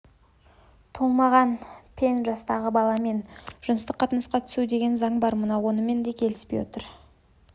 толмаған пен жастағы баламен жыныстық қатынасқа түсу деген заң бар мынау онымен де кетпей отыр